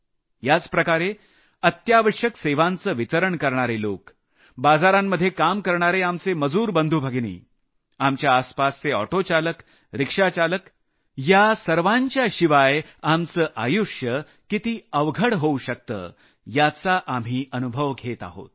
याचप्रकारे अत्यावश्यक सेवाचं वितरण करणारे लोक बाजारांमध्ये काम करणारे आमचे मजूर बंधुभगिनी आपल्या आसपासचे ऑटो चालक रिक्षा चालक या सर्वांच्या शिवाय आमल आयुष्य किती अवघड होऊ शकतं याचा आम्ही अनुभव घेत आहोत